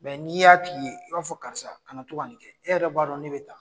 Mɛ n'i y'a' f'i i b'a fɔ karisa ka na to ka nin e yɛrɛ b'a dɔn ne bɛ taa